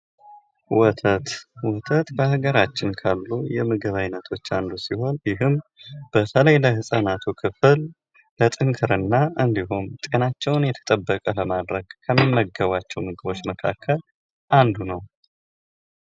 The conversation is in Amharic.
ወተት ወተት በሀገራችን ካሉ የምግብ ዓይነቶች አንዱ ሲሆን ይህም በተለይ ለህፃናቱ ክፍል ለጥንካሬ እና ጤናቸውን የተጠበቀ ለማድረግ ከሚመገባቸው ምግቦች መካከል አንዱ ነው ።